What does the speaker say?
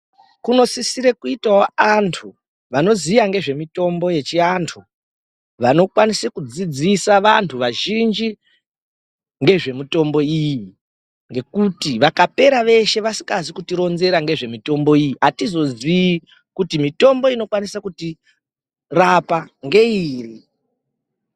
Kunosisire kuitawo antu vanoziya nezve mitombo yechi antu vanokwanise kudzidzisa vantu vazhinji ngezve mitombo iyi ngekuti vakapera veshe vasikazi kuti ronzera nezve mitombo iyi atizozii kuti mitombo inozo kwanisa kutirapa ngeiri.